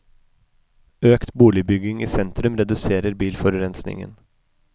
Økt boligbygging i sentrum reduserer bilforurensningen.